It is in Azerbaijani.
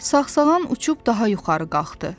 Sağsağan uçub daha yuxarı qalxdı.